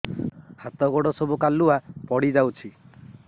ହାତ ଗୋଡ ସବୁ କାଲୁଆ ପଡି ଯାଉଛି